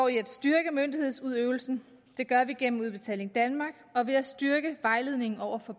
i at styrke myndighedsudøvelsen det gør vi gennem udbetaling danmark og ved at styrke vejledningen over for